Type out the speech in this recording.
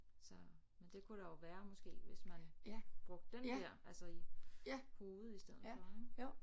Så men det kunne der jo være måske hvis man brugte den der altså i hovedet i stedet for ik